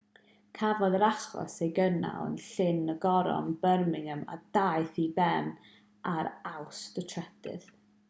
cafodd yr achos ei gynnal yn llys y goron birmingham a daeth i ben ar awst 3